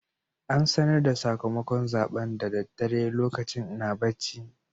An sanar da sakamakon zaɓen da daddare lokacin ina bacci.